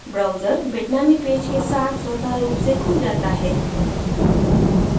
browser bitnami page के साथ स्वत: रूप से खुल जाता है